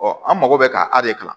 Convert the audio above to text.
an mago bɛ ka a de kalan